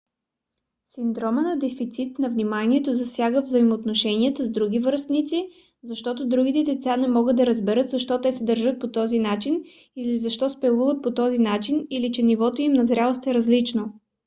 синдромът на дефицит на вниманието засяга взаимоотношенията с други връстници защото другите деца не могат да разберат защо те се държат по този начин или защо спелуват по този начина или че нивото им на зрялост е различно